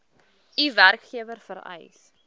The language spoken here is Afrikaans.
u werkgewer vereis